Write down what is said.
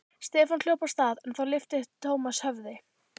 Stefán hljóp af stað en þá lyfti Thomas höfði.